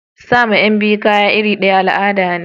Sama Yan biyu kaya irir daya al'ada ne.